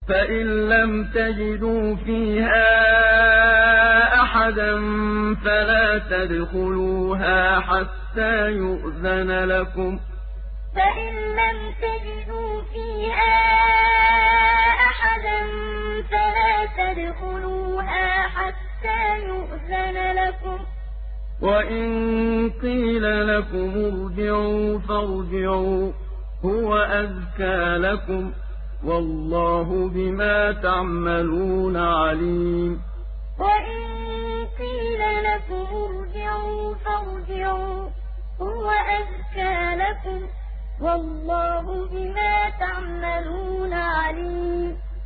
فَإِن لَّمْ تَجِدُوا فِيهَا أَحَدًا فَلَا تَدْخُلُوهَا حَتَّىٰ يُؤْذَنَ لَكُمْ ۖ وَإِن قِيلَ لَكُمُ ارْجِعُوا فَارْجِعُوا ۖ هُوَ أَزْكَىٰ لَكُمْ ۚ وَاللَّهُ بِمَا تَعْمَلُونَ عَلِيمٌ فَإِن لَّمْ تَجِدُوا فِيهَا أَحَدًا فَلَا تَدْخُلُوهَا حَتَّىٰ يُؤْذَنَ لَكُمْ ۖ وَإِن قِيلَ لَكُمُ ارْجِعُوا فَارْجِعُوا ۖ هُوَ أَزْكَىٰ لَكُمْ ۚ وَاللَّهُ بِمَا تَعْمَلُونَ عَلِيمٌ